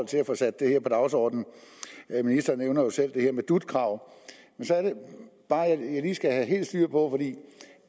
til at få sat det her på dagsordenen ministeren nævner jo selv det her med dut kravet men så er det bare at jeg lige skal have helt styr på